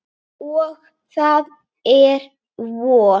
Og það er vor.